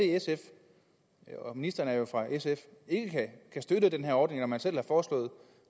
sf ministeren er jo fra sf ikke kan støtte den her ordning når man selv har foreslået